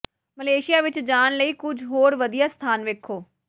Malaysia ਵਿੱਚ ਜਾਣ ਲਈ ਕੁਝ ਹੋਰ ਵਧੀਆ ਸਥਾਨ ਵੇਖੋ